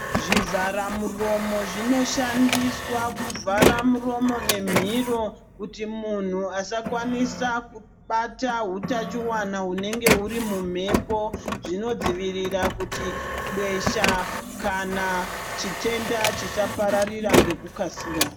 Zvivhara muromo zvinoshandiswa kuvhara muromo nemiro kuti munhu asakwanisa kubata utachiwana hunenge huri mumhepo zvinodzivirira kuti besha kana chitenda chisapararira ngekukasika.